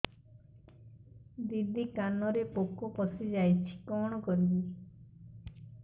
ଦିଦି କାନରେ ପୋକ ପଶିଯାଇଛି କଣ କରିଵି